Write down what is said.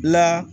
La